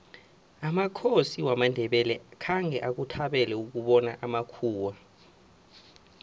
amakhosi wamandebele khange akuthabele ukubona amakhuwa